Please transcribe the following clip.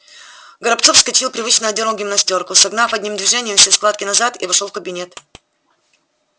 горобцов вскочил привычно одёрнул гимнастёрку согнав одним движением все складки назад и вошёл в кабинет